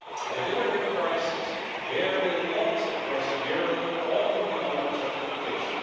Delivery prices vary a lot across Europe, often without justification.